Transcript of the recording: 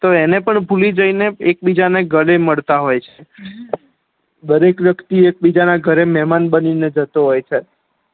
તો એને પણ ભૂલી જઈ એક બીજા ને ગળે મળતા હોય છે દરેક વ્યક્તિ એક બીજા ના ઘરે મેહમાન બની ને જતો હોય છે